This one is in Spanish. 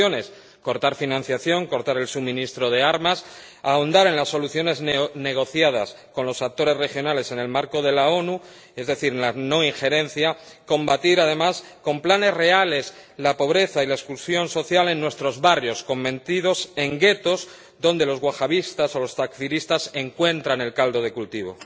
Soluciones cortar financiación, cortar el suministro de armas, ahondar en las soluciones negociadas con los actores regionales en el marco de la ONU ‒es decir, la no injerencia‒, y combatir, además, con planes reales la pobreza y la exclusión social en nuestros barrios, convertidos en guetos donde los wahabistas o los takfiristas encuentran el caldo de cultivo.